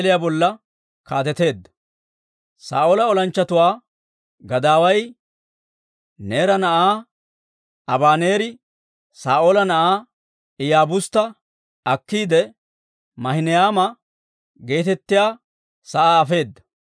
Saa'oola olanchchatuwaa gadaaway Neera na'aa Abaneeri Saa'oola na'aa Iyaabustta akkiide, Maahinayma geetettiyaa sa'aa afeedda.